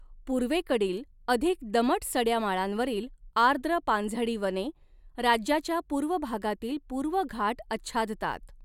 पूर्वेकडील अधिक दमट सड्या माळांवरील आर्द्र पानझडी वने, राज्याच्या पूर्व भागातील पूर्व घाट आच्छादतात.